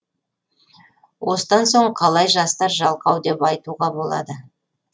осыдан соң қалай жастар жалқау деп айтуға болады